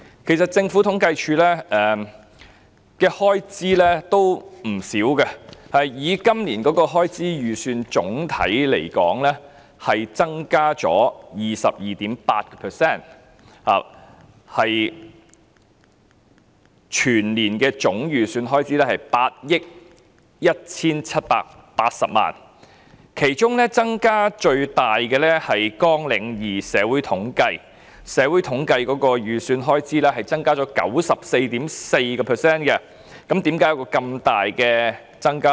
其實政府統計處的開支亦不少，以今年的開支預算來說，總體增加了 22.8%， 全年總預算開支為8億 1,780 萬元，其中加幅最大的是"綱領2社會統計"，預算開支增加 94.4%， 為何會有這麼大的增幅？